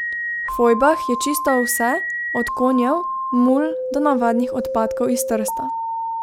V fojbah je čisto vse, od konjev, mul do navadnih odpadkov iz Trsta.